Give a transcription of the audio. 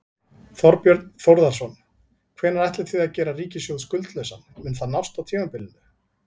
Þorbjörn Þórðarson: Hvenær ætlið þið að gera ríkissjóð skuldlausan, mun það nást á tímabilinu?